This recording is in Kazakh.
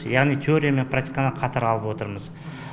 яғни теория мен практиканы қатар алып отырмыз